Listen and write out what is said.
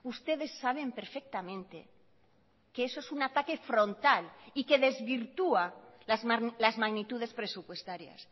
ustedes saben perfectamente que eso es un ataque frontal y que desvirtúa las magnitudes presupuestarias